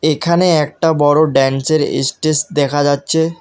এখানে একটা বড় ড্যান্সের ইস্টেস দেখা যাচ্ছে।